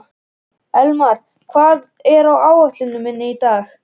Elmar, hvað er á áætluninni minni í dag?